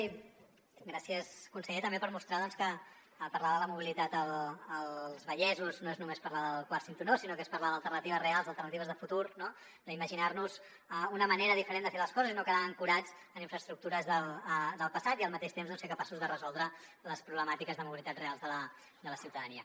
i gràcies conseller també per mostrar que parlar de la mobilitat als vallesos no és només parlar del quart cinturó sinó que és parlar d’alternatives reals alternatives de futur no d’imaginar nos una manera diferent de fer les coses i no quedar ancorats en infraestructures del passat i al mateix temps ser capaços de resoldre les problemàtiques de mobilitat reals de la ciutadania